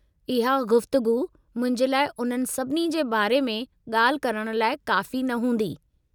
इहा गुफ़्तगू मुंहिंजे लाइ उन्हनि सभिनी जे बारे में ॻाल्हि करणु लाइ काफ़ी न हूंदी।